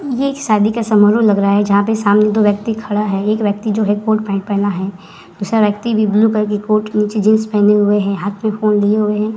ये एक शादी का समारोह लग रहा है जहां पे सामने दो व्यक्ति खड़ा है। एक व्यक्ति जो है कोट पैन्ट पहना हुआ है। दूसरा व्यक्ति भी ब्लू कलर की कोट नीचे जीन्स पहने हुए है। हाथ में फोन लिए हुए है।